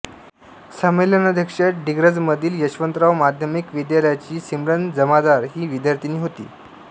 संमेलनाध्यक्ष डिग्रजमधील यशवंतराव माध्यामिक विद्यालयाची सिमरन जमादार ही विद्यार्थिनी होती